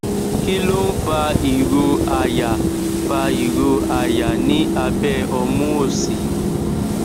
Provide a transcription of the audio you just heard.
kí ló ń fa ìró àyà fa ìró àyà ní abẹ omu òsì